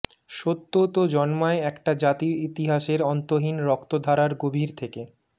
সত্যতো জন্মায় একটা জাতির ইতিহাসের অন্তহীন রক্তধারার গভীর থেকে